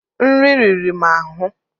nri riri m ahụ.